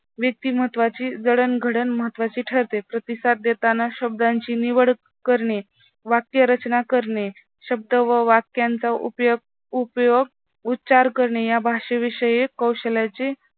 व्यक्तिमत्त्वाची जडणघडण महत्वाची ठरते. प्रतिसाद देताना शब्दांची निवड करणे, वाक्यरचना करणे शब्द व वाक्यांचा उपयोग उच्चार करणे या भाषेविषयी कौशल्याची